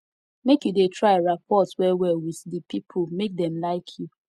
make you dey try rapport wellwell wit di pipo make dem like you